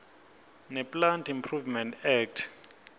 neplant improvement act